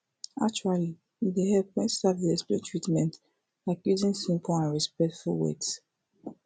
actually e dey hepful wen staf dey explain treatment like using simple and respectful words